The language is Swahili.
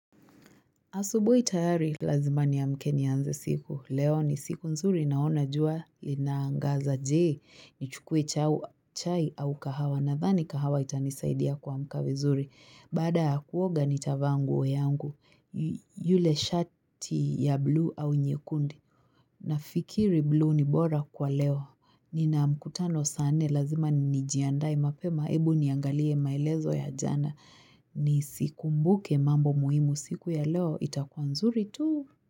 Asubuhi tayari lazima niamke nianze siku. Leo ni siku nzuri naona jua inaangaza je, nichukue chai au kahawa, nadhani kahawa itanisaidia kuamka vizuri. Baada ya kuoga nitavaa nguo yangu, yule shati ya bluu au nyekundi? Nafikiri bluu ni bora kwa leo. Nina mkutano saa nne lazima nijiandae mapema, hebu niangalie maelezo ya jana. Nizikumbuke mambo muhimu siku ya leo itakuwa nzuri tu.